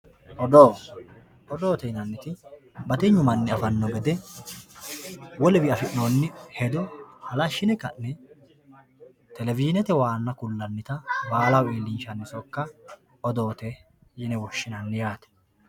Odoo, odoote yinnaniti battinyu manni afano gede wolewiyi afinonni hedo halashine ka'ne televisionete waana kulanita baalaho iilli'nshanni sokka odoote yine woshinanni yaate.